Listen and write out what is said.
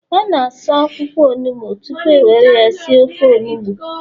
A ga-asa akwụkwọ onugbo tupu e were ya si ofe onugbu